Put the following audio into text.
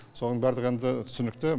соған барлығы енді түсінікті